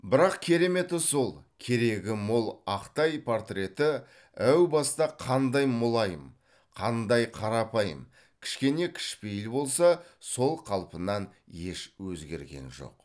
бірақ кереметі сол керегі мол ақтай портреті әу баста қандай мұлайым қандай қарапайым қішкене кішпейіл болса сол қалпынан еш өзгерген жоқ